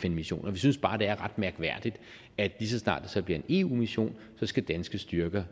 fn missioner men vi synes bare det er ret mærkværdigt at lige så snart det så bliver en eu mission skal danske styrker